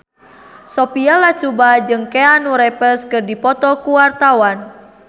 Sophia Latjuba jeung Keanu Reeves keur dipoto ku wartawan